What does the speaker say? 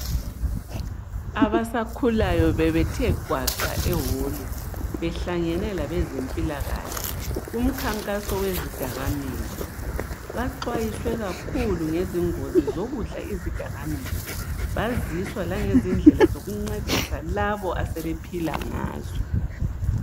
Abasakhulayo bebethe gwaqa ewolu behlangane labezempilakahle kumkhankaso wezidakamizwa baxwayiswe kakhulu ngezingozi zokudla izidakamizwa baziswa langezindlela zokuncedisa labo asebephila ngazo.